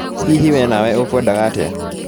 Hihi we nawe ũkwendaga atĩa?